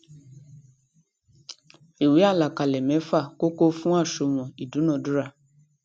ìwé àlàkalẹ méfa kókó fún àṣùwòn ìdúnadúrà